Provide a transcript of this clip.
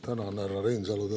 Tänan, härra Reinsalu!